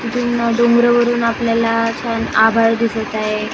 डोंगरावरून आपल्याला छान आभाळ दिसत आहे .